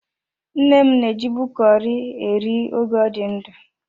Nne m na-ejibu curry e nri oge ọ dị ndụ.